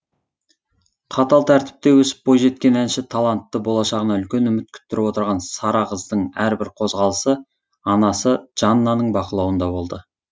қатал тәртіпте өсіп бойжеткен әнші талантты болашағынан үлкен үміт күттіріп отырған сара қыздың әрбір қозғалысы анасы жаннаның бақылауында болды